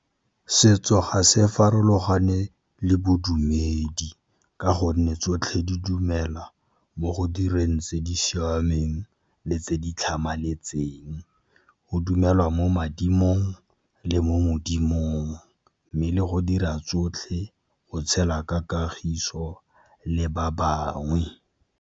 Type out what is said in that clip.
Setso ga se farologane le bodumedi ka gonne tsotlhe di dumela mo go direng tse di siameng le tse di tlhamaletseng. Go dumelwa mo badimong le mo modimong, mme le go dira tsotlhe go tshela ka kagiso le ba bangwe.